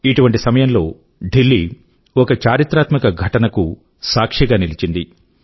ఇటువంటి సమయంలో ఢిల్లీ ఒక చారిత్రాత్మక ఘటన కు సాక్షి గా నిలిచింది